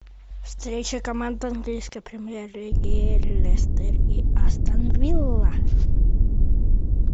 встреча команд английской премьер лиги лестер и астон вилла